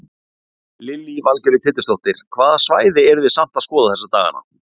Lillý Valgerður Pétursdóttir: Hvaða svæði eru þið samt að skoða þessa daganna?